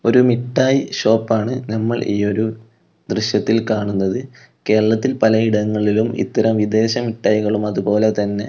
ഒരു മിഠായി ഷോപ്പാണ് നമ്മൾ ഈ ഒരു ദൃശ്യത്തിൽ കാണുന്നത് കേരളത്തിൽ പലയിടങ്ങളിലും ഇത്തരം വിദേശ മിഠായികൾ അതുപോലെ തന്നെ--